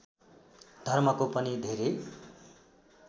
धर्मको पनि धेरै